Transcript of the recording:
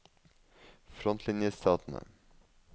frontlinjestatene